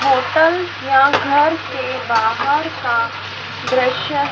hotel या घर के बाहर का दृश्य--